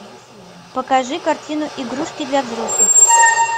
покажи картину игрушки для взрослых